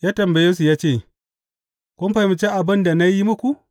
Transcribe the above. Ya tambaye su ya ce, Kun fahimci abin da na yi muku?